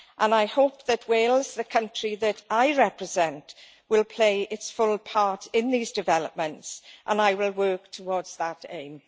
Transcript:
I hope that Wales, the country that I represent, will play its full part in these developments, and I will work towards that aim.